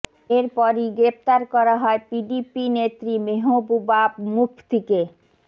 এরপরই গ্রেফতার করা হয় পিডিপি নেত্রী মেহবুবা মুফতিকে